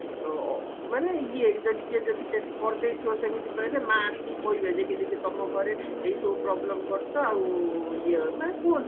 ଯୋଉ ମାନେ ଇଏ ଯଦି କିଏ ଯଦି ସେଠି କରିଦେଇଥିବା ସେମିତି କହିଲେ ମା ଆସିକି କହିବେ ଯେ କି ଯେ କି ତମ ଘରେ ଏଇ ସବୁ problem କରିଚ ଆଉ ଇଏ ମାନେ କୁହନ୍ତି